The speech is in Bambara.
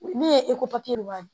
Ne ye eko papiye wa